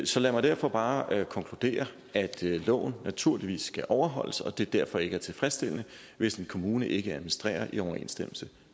så lad mig derfor bare konkludere at loven naturligvis skal overholdes og at det derfor ikke er tilfredsstillende hvis en kommune ikke administrerer i overensstemmelse